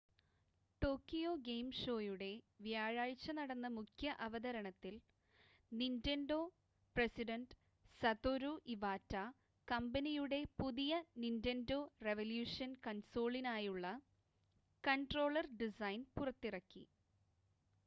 Tokyo game ഷോയുടെ വ്യാഴാഴ്ച നടന്ന മുഖ്യ അവതരണത്തിൽ നിൻ്റെൻഡോ പ്രസിഡൻ്റ് സതോരു ഇവാറ്റ കമ്പനിയുടെ പുതിയ നിൻ്റെൻഡോ റെവല്യൂഷൻ കൺസോളിനായുള്ള കൺട്രോളർ ഡിസൈൻ പുറത്തിറക്കി